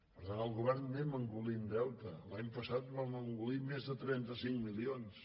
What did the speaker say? per tant el govern anem engolint deute l’any passat vam engolir més de trenta cinc milions